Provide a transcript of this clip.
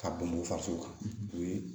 Ka bɔn faso kan o ye